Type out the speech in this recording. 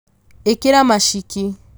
ĩkĩra maciki